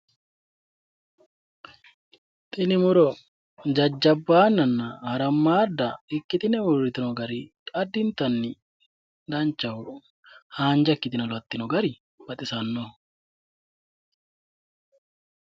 Tini muro jajjabbaannanna harammaadda ikkitine uurritino gari addintanni danchaho haanja ikkitino lattino gari baxisannoho